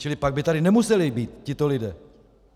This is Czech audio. Čili pak tady by nemuseli být tito lidé.